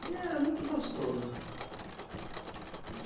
E era muito gostoso.